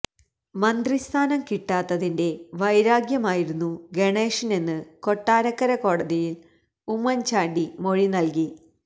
മന്ത്രി സ്ഥാനം കിട്ടാത്തതിന്റെ വൈരാഗ്യമായിരുന്നു ഗണേഷിനെന്ന് കൊട്ടാരക്കര കോടതിയിൽ ഉമ്മൻ ചാണ്ടി മൊഴി നൽകി